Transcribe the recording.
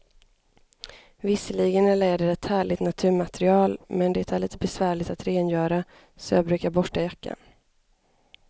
Visserligen är läder ett härligt naturmaterial, men det är lite besvärligt att rengöra, så jag brukar borsta jackan.